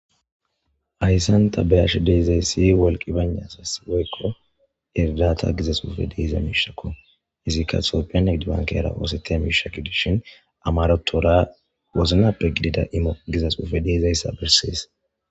Ayssan tabeyash deezay si wolqi banasas woykqo erilata gizas ufe diiza miishakko izikka txopeed bankera oosete mishakedishin amarotoora woznappe gidida io gizas ufe deizayssa bersees.